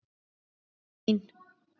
Jæja, amma mín.